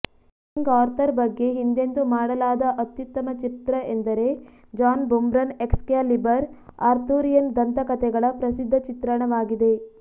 king Arthur ಬಗ್ಗೆ ಹಿಂದೆಂದೂ ಮಾಡಲಾದ ಅತ್ಯುತ್ತಮ ಚಿತ್ರ ಎಂದರೆ ಜಾನ್ ಬುರ್ಮನ್ರ ಎಕ್ಸ್ಕ್ಯಾಲಿಬರ್ ಆರ್ಥುರಿಯನ್ ದಂತಕಥೆಗಳ ಪ್ರಸಿದ್ಧ ಚಿತ್ರಣವಾಗಿದೆ